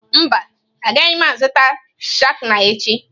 Mba, agaghị m azụta skana echi.